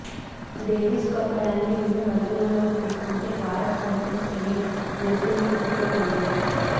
Davis cup ర్యాంకింగ్స్ను పరిగణలోకి తీసుకుంటే భారత్ కంటే స్పెయిన్ మెరుగైన స్థితిలో ఉంది